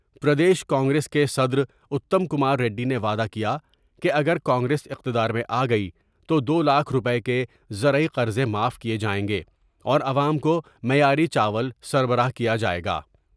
پردیش کانگریس کے صدراتم کماریڈی نے وعدہ کیا کہ اگر کانگریس اقتدار میں آگئی تو دولاکھ روپے کے زرعی قرضے معاف کیے جائیں گے اور عوام کو معیاری چاول سر براہ کیا جائے گا ۔